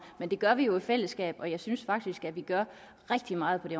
men det gør vi jo i fællesskab og jeg synes faktisk at vi gør rigtig meget på det